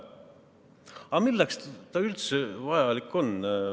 Aga milleks ta üldse vajalik ongi?